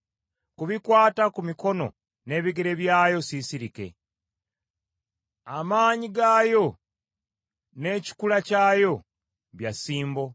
“Ku bikwata ku mikono n’ebigere byayo siisirike, amaanyi gaayo n’ekikula kyayo bya ssimbo.